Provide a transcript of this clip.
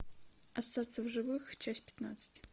остаться в живых часть пятнадцать